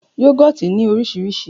Yoghurt ní oríṣiríṣi